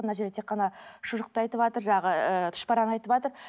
мына жерде тек қана шұжықты айтыватыр жаңағы ыыы тұшпараны айтыватыр